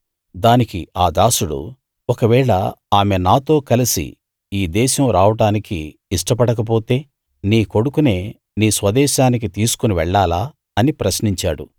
దానికి ఆ దాసుడు ఒకవేళ ఆమె నాతో కలసి ఈ దేశం రావడానికి ఇష్టపడక పొతే నీ కొడుకునే నీ స్వదేశానికి తీసుకుని వెళ్ళాలా అని ప్రశ్నించాడు